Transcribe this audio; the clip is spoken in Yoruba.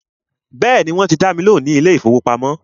Bẹ́ẹ̀ni, wọ́n ti dá mi lóhùn ní ilé ìfọwọ́pamo.